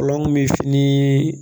Kɔlɔn bi fini